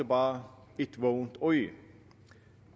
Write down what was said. bare et vågent øje